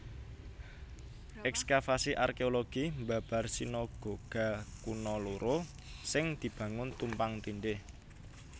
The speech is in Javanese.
Èkskavasi arkéologi mbabar sinagoga kuna loro sing dibangun tumpang tindih